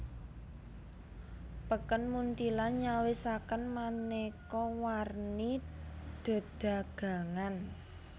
Peken Munthilan nyawisaken manéka warni dedagangan